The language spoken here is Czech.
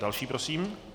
Další prosím?